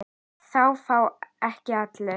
Það fá ekki allir.